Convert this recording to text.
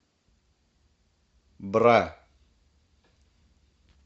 бра